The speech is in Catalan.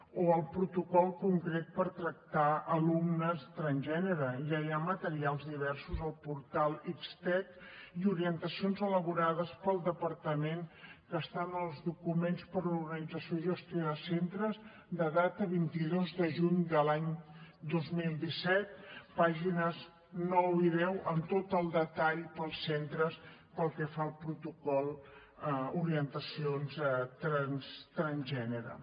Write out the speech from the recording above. o el protocol concret per tractar alumnes transgènere ja hi ha materials diversos al portal xtec i orientacions elaborades pel departament que estan als documents per a l’organització i gestió de centres de data vint dos de juny de l’any dos mil disset pàgines nou i deu amb tot el detall per als centres pel que fa al protocol d’orientacions transgènere